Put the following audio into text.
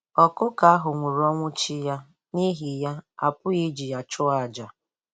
Ọkụkọ ahụ nwụrụ ọnwụ chi ya, n'ihi ya, a pụghị iji ya chụọ àjà.